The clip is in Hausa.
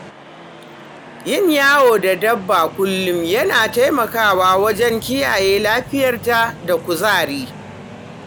Yin yawo da dabba kullum yana taimakawa wajen kiyaye lafiyarta da kuzari.